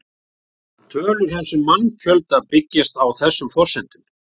Á löngum tíma breytast því stofnar lífvera og tegundir.